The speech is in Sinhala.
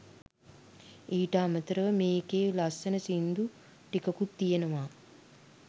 ඊට අමතරව මේකේ ලස්සන සින්දු ටිකකුත් තියනවා